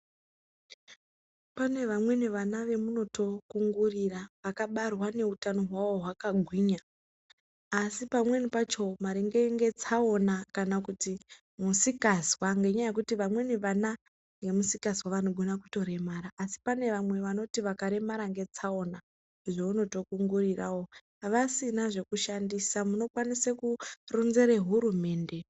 Pane vamweni vana ve munoto kungurira aka barwa ne utano hwawo hwaka ngwinya asi pamweni pacho maringe nge tsaona kana kuti musikazwa nge nyaya yekuti vamweni vana nge musikazwa vano gona kuto remara asi pane vamwe vanoto vaka remara nge tsaona zve unoto kungurirawo vasina zveku shandisa muno kwanise ku ronzere hurumende.